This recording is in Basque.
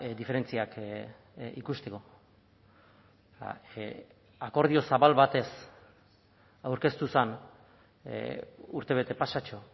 diferentziak ikusteko akordio zabal batez aurkeztu zen urtebete pasatxo